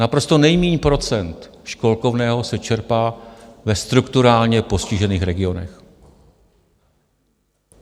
Naprosto nejmíň procent školkovného se čerpá ve strukturálně postižených regionech.